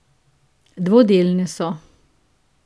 Dvodelne so.